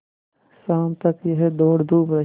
शाम तक यह दौड़धूप रही